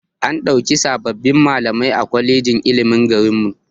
An ɗauki sabbin malamai a kwalejin ilimin garinmu